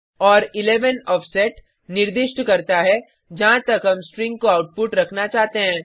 और 11 आफसेट निर्दिष्ट करता है जहाँ तक हम स्ट्रिंग को आउटपुट रखना चाहते हैं